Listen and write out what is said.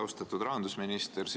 Austatud rahandusminister!